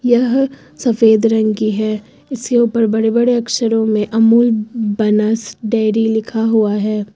यह सफेद रंग की है। इसके ऊपर बड़े बड़े अक्षरों में अमूल बनास डेयरी लिखा हुआ है।